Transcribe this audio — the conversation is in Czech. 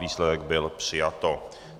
Výsledek byl přijato.